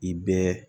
I bɛɛ